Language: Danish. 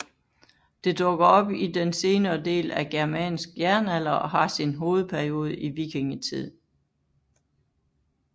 Det dukker op i den senere del af germansk jernalder og har sin hovedperiode i vikingetid